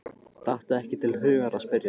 Datt ekki til hugar að spyrja.